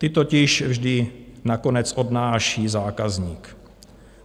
Ty totiž vždy nakonec odnáší zákazník.